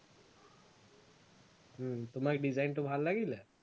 উম তোমাক design টো ভাল লাগিলে